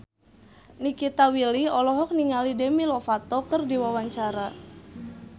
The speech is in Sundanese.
Nikita Willy olohok ningali Demi Lovato keur diwawancara